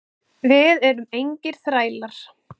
Við erum engir þrælar.